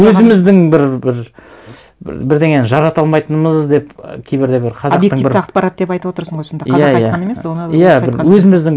өзіміздің бір бірдеңені жарата алмайтынымыз деп кейбірлер бір қазақтың бір объективті ақпарат деп айтып отырсың ғой сонда қазақ айтқан емес иә бір өзіміздің